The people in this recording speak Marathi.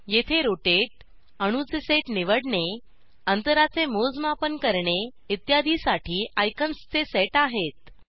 येथे रोटेट अणूचे सेट निवडणे अंतराचे मोजमाप करणे इत्यादीसाठी आयकॉन्सचे सेट अहेत